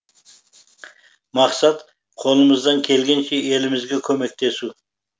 мақсат қолымыздан келгенше елімізге көмектесу